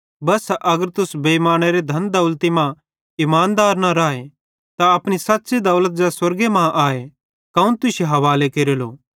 बस्सा अगर तुस बेइमानेरे धन दौलती मां इमानदार न भोए त अपनी सच़्च़ी दौलत ज़ै स्वर्गे मां आए कौन तुश्शे हवाले केरेलो